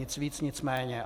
Nic víc, nic méně.